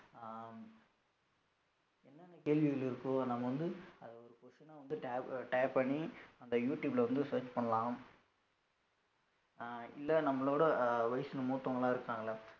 அஹ் என்ன என்ன கேள்விகள் இருக்கோ நம்ம வந்து அது ஒரு question அ tag tag பண்ணி அந்த யூ டியூப்ல வந்து search பண்ணலாம் அஹ் இல்ல நம்மளோட அஹ் வயசு மூத்தவங்களாம் இருக்காங்கல்ல